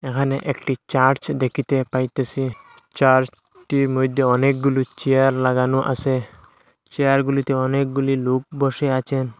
এখানে একটি চার্চ দেখিতে পাইতেছি চার্চ টির মইদ্যে অনেকগুলো চেয়ার লাগানো আসে চেয়ারগুলিতে অনেকগুলি লোক বসে আচেন।